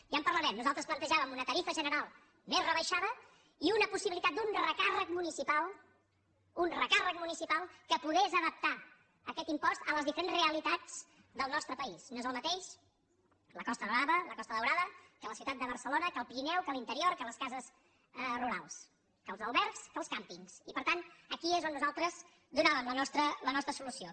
ja en parlarem nosaltres platejàvem una tarifa general més rebaixada i una possibilitat d’un recàrrec municipal un recàrrec municipal que pogués adaptar aquest impost a les diferents realitats del nostre país no és el mateix la costa brava la costa daurada que la ciutat de barcelona que el pirineu que l’interior que les cases rurals que els albergs que els càmpings i per tant aquí és on nosaltres donàvem la nostra solució